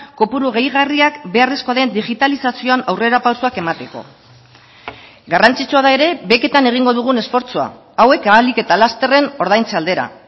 kopuru gehigarriak beharrezkoa den digitalizazioan aurrerapausoak emateko garrantzitsua da ere beketan egingo dugun esfortzua hauek ahalik eta lasterren ordaintze aldera